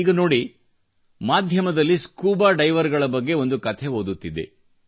ಈಗ ನೋಡಿ ಮಾಧ್ಯಮದಲ್ಲಿ ಸ್ಕೂಬಾ ಡೈವರ್ಗಳ ಬಗ್ಗೆ ಒಂದು ಕಥೆ ಓದುತ್ತಿದ್ದೆ